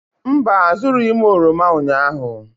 Mba, azụrụghị m oroma ụnyahụ.